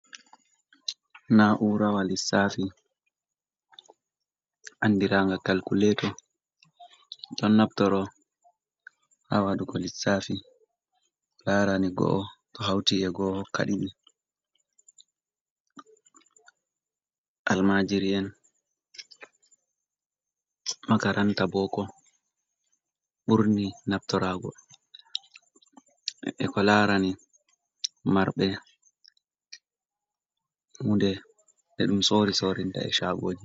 Na'ura wa lissafi andiraga calkulleto, ɗon naftoro ha waɗugo lissafi ko larani go’o to hauti e gooh hoka ɗiɗi, almajiri en makaranta boko ɓurni naftorago, e ko larani marɓe hunde be ɗum sori sorina e chago ji.